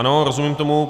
Ano, rozumím tomu.